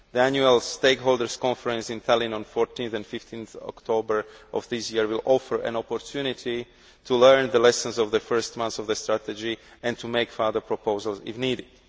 The annual stakeholders' conference in Tallinn on 14 and 15 October of this year will offer an opportunity to learn the lessons of the first months of the strategy and to make further proposals if needed.